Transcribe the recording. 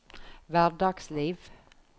hverdagsliv